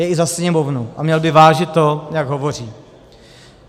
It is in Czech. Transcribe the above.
Je i za Sněmovnu a měl by vážit to, jak hovoří.